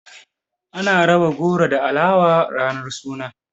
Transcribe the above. Ana raba goro da alawa ranar suna.